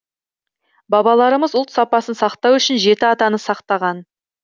бабаларымыз ұлт сапасын сақтау үшін жеті атаны сақтаған